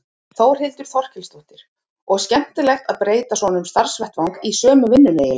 Þórhildur Þorkelsdóttir: Og skemmtilegt að breyta svona um starfsvettvang í sömu vinnunni eiginlega?